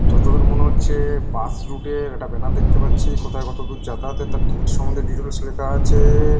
যতদূর মনে হচ্ছে বাস রুট -এর একটা ব্যানার দেখতে পাচ্ছি। কোথায় কত দূর যাতায়াতের তার ঠিক সম্বন্ধে ডিটেলস লেখা আছে ।